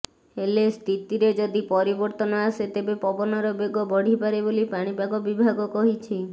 ହେଲେ ସ୍ଥିତିରେ ଯଦି ପରିବର୍ତ୍ତନ ଆସେ ତେବେ ପବନର ବେଗ ବଢିପାରେ ବୋଲି ପାଣିପାଗ ବିଭାଗ କହିଛି